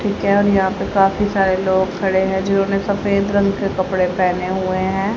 ठीक है हम यहां पे काफी सारे लोग खड़े हैं जिन्होंने सफेद रंग के कपड़े पहने हुए हैं।